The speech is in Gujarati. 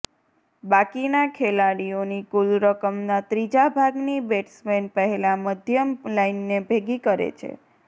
બાકીના ખેલાડીઓની કુલ રકમના ત્રીજા ભાગની બેટ્સમેન પહેલાં મધ્યમ લાઇનને ભેગી કરે છે